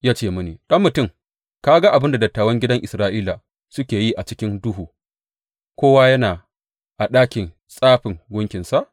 Ya ce mini, Ɗan mutum, ka ga abin da dattawan gidan Isra’ila suke yi a cikin duhu, kowa yana a ɗakin tsafin gunkinsa?